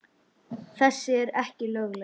Þessi eru ekki lögleg.